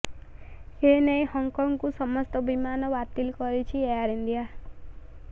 ଏନେଇ ହଂକଂକୁ ସମସ୍ତ ବିମାନ ବାତିଲ କରିଛି ଏୟାର ଇଣ୍ଡିଆ